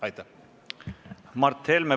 Mart Helme, palun!